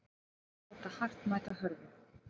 Að láta hart mæta hörðu